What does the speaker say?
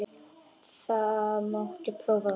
Það mátti prófa það.